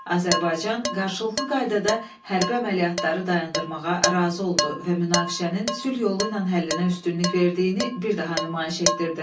Azərbaycan qarşılıqlı qaydada hərbi əməliyyatları dayandırmağa razı oldu və münaqişənin sülh yolu ilə həllinə üstünlük verdiyini bir daha nümayiş etdirdi.